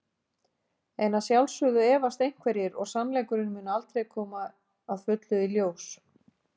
En að sjálfsögðu efast einhverjir og sannleikurinn mun aldrei koma að fullu í ljós.